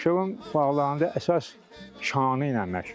Abşeron bağlarında əsas şanı ilə məşğul olub.